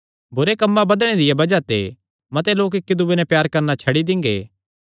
बुरे कम्मां बधणे दिया बज़ाह ते मते लोक इक्की दूये नैं प्यार करणा छड्डी दिंगे